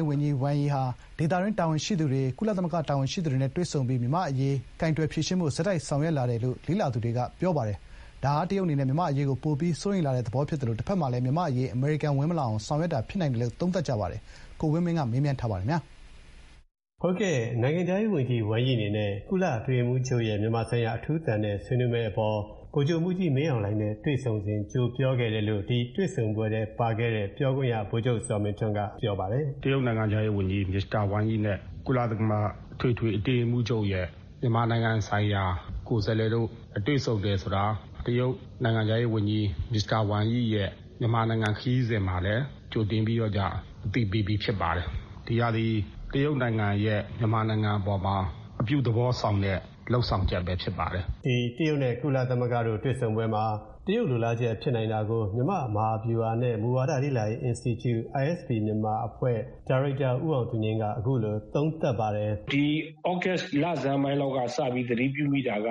းဝန်ကြီး ဝမ်ယီဟာ ဒေသတွင်းတာဝန်ရှိသူတွေ ကုလ တာဝန်ရှိသူတွေကိုတွေ့ဆုံပြီး မြန်မာ့အရေး ကိုင်တွယ်ဖြေရှင်းဖို့ ဆက်တိုက်ဆောင်ရွက်လာတယ်လို့ လေ့လာသူတွေ ယူဆပါတယ်။ ဒါဟာ တရုတ်အနေနဲ့ မြန်မာ့အရေးကို ပိုပြီး စိုးရိမ်လာတဲ့သဘောဖြစ်သလို တဖက်မှာ မြန်မာ့အရေး အမေရိကန်ဝင်မလာအောင် ဆောင်ရွက်တာဖြစ်နိုင်တယ်လို့ သုံးသပ်ကြပါတယ်။ ကိုဝင်းမင်းက တွေ့ဆုံမေးမြန်းထား ပါတယ်။ နိုင်ငံခြားရေးဝန်ကြီး ဝမ်ယီအနေနဲ့ ကုလအတွင်းရေးမှူးချုပ်ရဲ့ မြန်မာဆိုင်ရာအထူးသံနဲ့ တွေ့ဆုံဆွေးနွေးမယ့်အပေါ် ဗိုလ်ချုပ်မှူးကြီး မင်းအောင်လှိုင်နဲ့ တွေ့ဆုံစဥ် ကြိုပြောခဲ့တယ်လို့ ဒီတွေ့ဆုံပွဲထဲပါခဲ့တဲ့ ပြောခွင့်ရဗိုလ်ချုပ် ဇော်မင်းထွန်းက ပြောပါတယ်။ “တရုတ်နိုင်ငံခြားရေးဝန်ကြီး မစ္စတာဝမ်ယီနဲ့ ကုလသမဂ္ဂအထွေထွေအတွင်းရေးမှူးချုပ်ရဲ့ မြန်မာနိုင်ငံဆိုင်ရာ ကိုယ်စားလှယ်တို့ တွေ့ဆုံတယ် ဆိုတာက တရုတ်နိုင်ငံခြားရေးဝန်ကြီး မစ္စတာဝမ်ယီရဲ့ မြန်မာနိုင်ငံခရီးစဥ်မှာလည်း ကြိုတင်ပြီးတော့ကျ အသိပေးပြီးလည်းဖြစ်ပါတယ်။ ဒီဟာသည် တရုတ်နိုင်ငံရဲ့မြန်မာနိုင်ငံအပေါ်မှာ အပြုသဘောဆောင်တဲ့ လုပ်ဆောင်ချက်ပဲဖြစ်ပါတယ်။” တရုတ်နဲ့ကုလသမဂ္ဂတို့တွေ့ဆုံပွဲမှာ တရုတ်ဘက်ကလိုလားချက်ဖြစ်နိုင်တာကို မြန်မာ့မဟာဗျူဟာနဲ့ မူဝါဒလေ့လာရေးအင်စတီကျု ISP မြန်မာအဖွဲ့ ဒါရိုက်တာဦးအောင်သူငြိမ်းက အခုလို သုံးသပ်ပါတယ်။ “ဒီသြဂတ်စ်လဆန်းပိုင်းလောက်ကစပြီး သတိပြုမိတာက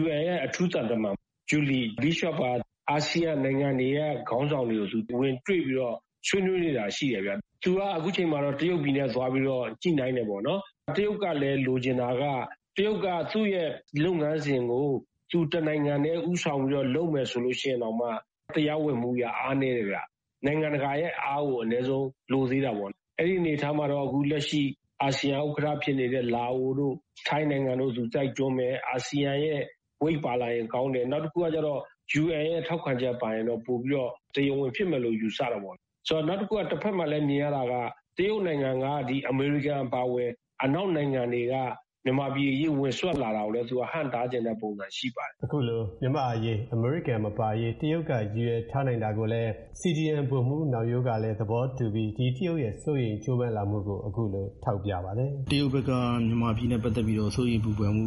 UN ရဲ့အထူးသံတမန် ဂျူလီ ဘစ်ရှော့က အာဆီယံနိုင်ငံတွေက ခေါင်းဆောင်တွေကို သူ ဝင်တွေ့ပြီး ဆွေးနွေးနေတာရှိတယ်ဗျ။ သူက အခုချိန်မှာတော့ တရုတ်ပြည်နဲ့သွားပြီးတော့ ညှိနှိုင်းတယ်ပေါ့နော်၊ တရုတ်ကလည်း လိုချင် တာက သူ့ရဲ့လုပ်ငန်းစဥ်ကို သူတနိုင်ငံတည်းဦးဆောင်ပြီးတော့ လုပ်မယ်ဆိုရင်တောင်မှ တရားဝင်မှုအရ အားနည်းတယ်ဗျ။ နိုင်ငံတကာရဲ့ အားကို အနည်းဆုံးလိုသေးတာပေါ့။ အဲဒီအနေအထားမှာတော့ အခုလက်ရှိ အာဆီယံဥက္ကဋ္ဌဖြစ်နေတဲ့ လာအိုတို့၊ ထိုင်းနိုင်ငံတို့ကို သူတိုက် တွန်းမယ်။ အာဆီယံဝိတ်ပါလာရင်ကောင်းတယ်။ နောက်တခုကကျတော့ UN ရဲ့ထောက်ခံချက်ပါလာရင် ပိုပြီးတော့ တရားဝင်ဖြစ်မယ်ဆိုပြီး ယူဆတာပေါ့။ နောက်တခုက တဘက်မှာလည်းမြင်ရတာက တရုတ်နိုင်ငံက အမေရိကန်အပါအဝင် အနောက်နိုင်ငံတွေက မြန်မာပြည်အရေး ဝင်စွက်လာတာကိုလည်း သူက ဟန့်တားချင်တဲ့ပုံစံရှိပါတယ်။” အခုလို ‘မြန်မာ့အရေး အမေရိကန်မပါရေး’ တရုတ်ကရည်ရွယ်ထားနိုင်တာကိုလည်း CDM ဗိုလ်မှူးနောင်ရိုးကလည်းသဘောတူပြီး တရုတ်ရဲ့စိုးရိမ်မှုနဲ့ကြိုးပမ်းလာပုံတွေကို အခုလို ထောက်ပြပါတယ်။ “တရုတ်ဘက်က မြန်မာပြည်နဲ့ပတ်သက်ပြီးတော့ စိုးရိမ်ပူပန်မှု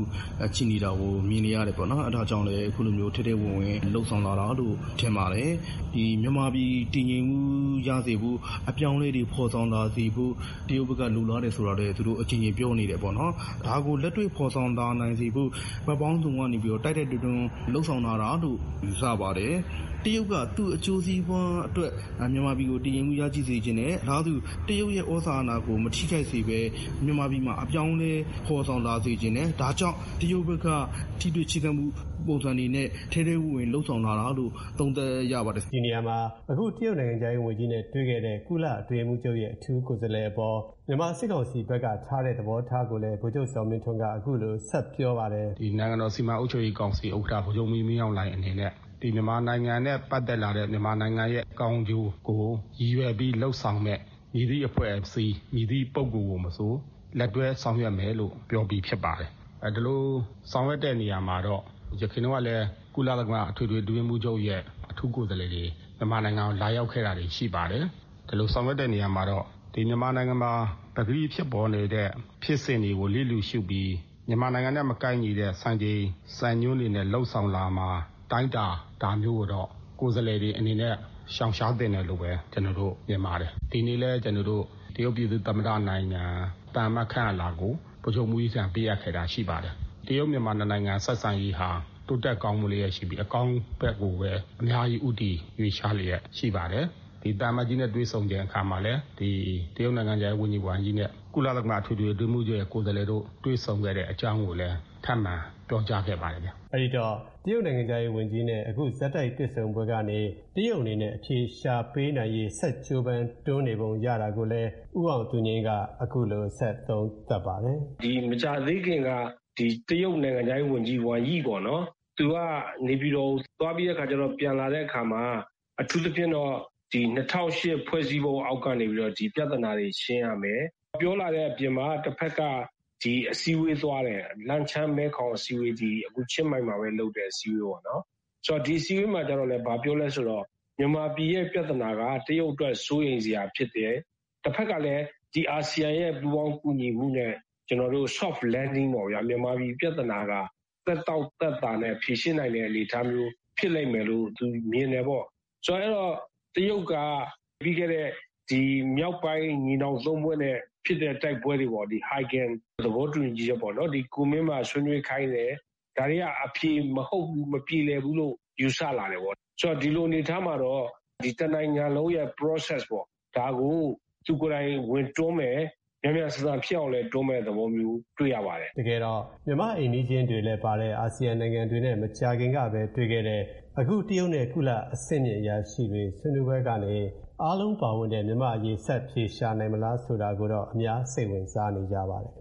ရှိနေတာကို မြင်နေရတယ်ပေါ့နော်။ အဲဒါကြောင့်လည်း အခုလိုမျိုး ထဲထဲဝင်ဝင်လုပ်ဆောင်လာတာလို့ ထင်ပါတယ်။ မြန်မာပြည်တည်ငြိမ်မှုရစေဖို့၊ အပြောင်းအလဲတွေဖော်ဆောင်လာစေဖို့ တရုတ်က လိုလားတယ်ဆိုတာလည်း သူတို့အကြိမ်ကြိမ်ပြောနေတယ်ပေါ့နော်၊ ဒါကိုလက်တွေ့ဖော်ဆောင်လာနိုင်စေဖို့ ဘက်ပေါင်းစုံကနေပြီးတော့ တိုက်တိုက်တွန်းတွန်းလုပ်ဆောင်လာတာလို့ ယူဆပါတယ်။ တရုတ်က သူ့အကျိုးစီးပွါးအတွက် မြန်မာပြည်ကိုတည်ငြိမ်မှုရရှိစေချင်တယ်။ အလားတူ တရုတ်ရဲ့သြဇာအာဏာကိုမထိခိုက်စေဘဲ မြန်မာပြည်မှာ အပြောင်းအလဲ ဖော်ဆောင်လာစေချင်တယ်။ ဒါကြောင့်တရုတ်ဘက်က ထိတွေ့ချဥ်းကပ်မှု ပုံစံတွေနဲ့ထဲထဲဝင်ဝင်လုပ်ဆောင်လာတာလို့ သုံးသပ်ရပါတယ်။” ဒီနေရာမှာ အခု တရုတ်နိုင်ငံခြားရေးဝန်ကြီးနဲ့တွေ့ခဲ့တဲ့ ကုလအတွင်းရေးမှူးချုပ်ရဲ့အထူးကိုယ်စားလှယ်အပေါ် မြန်မာစစ်ကောင်စီဘက်က ထားတဲ့ သဘောထားကိုလည်း ဗိုလ်ချုပ်ဇော်မင်းထွန်းက အခုလို ဆက်ပြောပါတယ်။ “နိုင်ငံတော်စီမံအုပ်ချုပ်ရေးကောင်စီဥက္ကဋ္ဌ ဗိုလ်ချုပ်မှူးကြီးမင်းအောင်လှိုင်အနေနဲ့ မြန်မာနိုင်ငံနဲ့ပတ်သက်လာတဲ့ မြန်မာနိုင်ငံရဲ့ကောင်းကျိုးကို ရည်ရွယ်ပြီး လုပ်ဆောင်မယ့် မည်သည့်အဖွဲ့အစည်း မည်သည့်ပုဂ္ဂိုလ်ကိုမဆို လက်တွဲဆောင်ရွက်မယ်လို့ ပြောပြီးဖြစ်ပါတယ်။ ဒီလို ဆောင်ရွက်တဲ့ နေရာမှာတော့ ယခင်တုန်းကလည်း ကုလသမဂ္ဂအထွေထွေအတွင်းရေးမှူးချုပ်ရဲ့ အထူးကိုယ်စားလှယ်တွေ မြန်မာနိုင်ငံကို လာရောက်ခဲ့တာတွေ ရှိပါတယ်။ ဒီလိုဆောင်ရွက်တဲ့နေရာမှာတော့ မြန်မာနိုင်ငံမှာ ပကတိဖြစ်ပေါ်နေတဲ့ ဖြစ်စဥ်တွေကို လျစ်လျူရှုပြီး မြန်မာနိုင်ငံနဲ့မကိုက်ညီတဲ့စံချိန်စံညွှန်းတွေနဲ့လုပ်ဆောင်လာမှာ၊ အတိုင်းအတာ ဒါမျိုးကိုတော့ ကိုယ်စားလှယ်တွေအနေနဲ့ ရှောင်ရှားသင့်တယ်လို့ မြင်ပါတယ်။ ဒီနေ့လည်း တရုတ်ပြည်သူ့သမ္မတနိုင်ငံ သံအမတ်ခန့်အပ်လွှာကို ဗိုလ်ချုပ်မှူးကြီးထံ ပေးအပ်ခဲ့တာရှိပါတယ်။ တရုတ်-မြန်မာ နှစ်နိုင်ငံ ဆက်ဆံရေးဟာ တိုးတက်ကောင်းမွန်လျက်ရှိပြီး အကောင်းဘက်ကိုပဲ အများကြီး ဦးတည်ရွေ့လျားလျက်ရှိပါတယ်။ ဒီသံအမတ်ကြီးနဲ့ တွေ့ဆုံစဥ်အခါမှာလည်း ဒီ တရုတ်နိုင်ငံခြားရေးဝန်ကြီး ဝမ်ယီနဲ့ ကုလသမဂ္ဂအထွေထွေအတွင်းရေးမှူးချုပ်ရဲ့ကိုယ်စားလှယ်တို့ တွေ့ဆုံခဲ့တဲ့အကြောင်းကိုလည်း ပြောကြားခဲ့ပါတယ်ဗျ။” အဲဒီတော့ တရုတ်နိုင်ငံခြားရေးဝန်ကြီးနဲ့အခု ဆက်တိုက်တွေ့ဆုံမှုကနေ တရုတ်အနေနဲ့အဖြေရှာပေးနိုင်ရေး ဆက်ကြိုးပမ်းနေပုံရတာကိုလည်း ဦးအောင်သူငြိမ်းက အခုလို ဆက်သုံးသပ်ပါတယ်။ “ဒီ မကြာသေးခင်က တရုတ်နိုင်ငံခြားရေးဝန်ကြီး ဝမ်ယိပေါ့နော်၊ သူက နေပြည်တော်ကိုသွားပြီးတော့ ပြန်လာတဲ့အခါမှာ အထူးသဖြင့်တော့ ၂၀၀၈ ဖွဲ့စည်းပုံအောက်ကနေပြီးတော့ ဒီပြဿနာတွေရှင်းရမယ်။ ပြောလာတဲ့အပြင်မှာ တဘက်က အစည်းအဝေးသွားတယ်။ လန်ချန်း-မဲခေါင်အစည်းအဝေး- ချင်းမိုင်မှာပဲလုပ်တဲ့အစည်းအဝေးပေါ့နော်။ ဒီအစည်းအဝေးမှာကျတော့လည်း ဘာပြောလဲဆိုတော့ မြန်မာပြည်ရဲ့ ပြဿနာက တရုတ်အတွက် စိုးရိမ်စရာဖြစ်တယ်။ တဘက်ကလည်း အာဆီယံရဲ့ပူးပေါင်းကူညီမှုနဲ့ မြန်မာပြည်ရဲ့ soft landing ပေါ့ဗျာ။ မြန်မာပြည် ပြဿနာက သက်တောင့်သက်သာနဲ့ဖြေရှင်းနိုင်မယ့်အနေအထားမျိုး သူ မြင်တယ်ပေါ့။ ဆိုတော့ တရုတ်က ပြီးခဲ့တဲ့ ညီနောင်သုံးဖွဲ့နဲ့ ဖြစ်ခဲ့တဲ့တိုက်ပွဲတွေပေါ့-ဟိုက်ဂင်သဘောတူညီချက်ပေါ့နော်။ ကူမင်းမှာဆွေးနွေးခဲ့တယ်၊ ဒါတွေက အဖြေမဟုတ်ဘူး၊ မပြေလည်ဘူးလို့ ယူဆပါတယ်-ပေါ့။ ဒီလိုအနေအထားမှာတော့ တနိုင်ငံလုံးရဲ့ process ပေါ့။ ဒါကို သူကိုယ်တိုင်ဝင်တွန်းမယ်၊ မြန်မြန်ဆန်ဆန်ဖြစ်အောင်လည်း ဝင်တွန်းမယ့်သဘောမျိုး တွေ့ရပါတယ်။ “ တကယ်တော့ မြန်မာ့အိမ်နီးချင်း တွေလည်းပါတဲ့ အာဆီယံနိုင်ငံတွေနဲ့ မကြာခင်ကပဲတွေ့ခဲ့တဲ့ အခု တရုတ်နဲ့ကုလ အဆင့်မြင့်အရာရှိတွေဆွေးနွေးပွဲကနေ အားလုံးပါဝင်တဲ့မြန်မာ့အရေး ဆက်အဖြေရှာနိုင်မလားဆိုတာကိုတော့ အများစိတ်ဝင်စားနေကြပါတယ်ခ